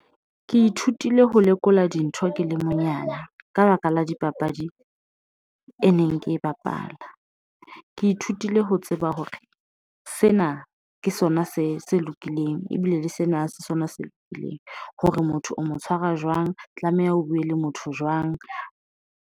Ke ithutile ho lekola dintho ke le monyane ka baka la dipapadi e neng ke e bapala, Ke ithutile ho tseba hore sena ke sona se se lokileng, ebile le sena sona se lokileng hore motho o mo tshwara jwang, tlameha ho buwe le motho jwang.